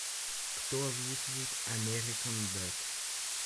кто озвучивает американ дэд